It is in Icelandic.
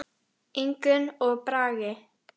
Ingunn og Bragi.